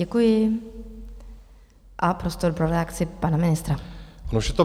Děkuji a prostor pro reakci pana ministra.